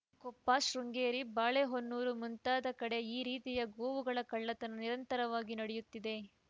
ಕೊಪ್ಪ ಶೃಂಗೇರಿ ಬಾಳೆಹೊನ್ನೂರು ಮುಂತಾದ ಕಡೆ ಈ ರೀತಿಯ ಗೋವುಗಳ ಕಳ್ಳತನ ನಿರಂತರವಾಗಿ ನಡೆಯುತ್ತಿದೆ